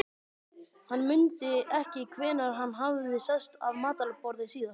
Hann mundi ekki hvenær hann hafði sest að matarborði síðast.